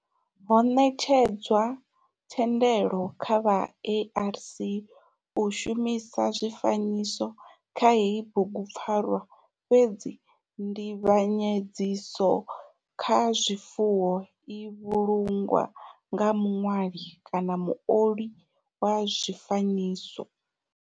Ho netshedzwa thendelo kha vha ARC u shumisa zwifanyiso kha heyi bugupfarwa fhedzi nzivhanyedziso kha zwifanyiso i vhulungwa nga muṋwali kana muoli wa zwifanyiso.